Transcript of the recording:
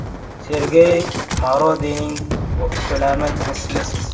“Sergey Mavrodining ko‘lami mislsiz.